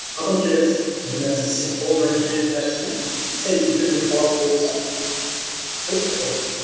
поток теориясы деген не нәрсе сенің қолыңнан келетін нәрседен сәл үлкенірек талап қоя алсаң сол поток